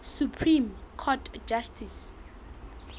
supreme court justice